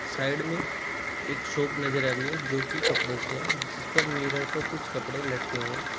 Side में एक shop नजर आ रही है जो की कपड़ों की है जिस पर मिरर पर कुछ कपड़े लटके हुए हैं।